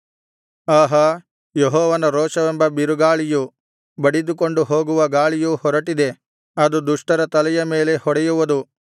ಆಹಾ ಯೆಹೋವನ ರೋಷವೆಂಬ ಬಿರುಗಾಳಿಯು ಬಡಿದುಕೊಂಡು ಹೋಗುವ ಗಾಳಿಯು ಹೊರಟಿದೆ ಅದು ದುಷ್ಟರ ತಲೆಯ ಮೇಲೆ ಹೊಡೆಯುವುದು